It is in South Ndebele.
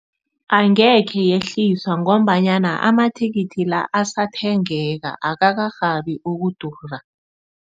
Angekhe yehliswa ngombanyana ama-ticket la asathengeka akakarhabi ukudura.